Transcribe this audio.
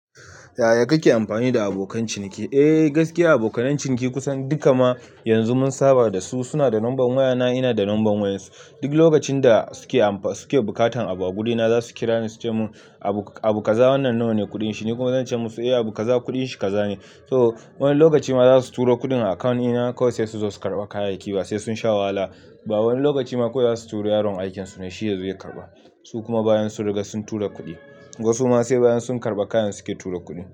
Yaya kake amfani da abokan ciniki? Eh gaskiya abokanan ciniki kusan duka ma yanzu mun saba da su, suna da number wayana ina da number wayansu. Duk lokacin da suke buƙatan abu a gurina za su kira ni su ce mun abu kaza wannan nawane kuɗin shi. Ni kuma zan ce musu eh abu kaza kuɗin shi kaza ne. So, wani lokaci ma za su turo kuɗin a account ina kawai sai su zo su karɓa kayayyaki ba sai sun sha wahala ba. Wani lokaci ma kawai za su turo yaron aikin su ne shi ya zo ya karɓa. Su kuma bayan sun riga sun tura kuɗi. Wasu ma sai bayan sun karɓa kayan su ke tura kuɗi.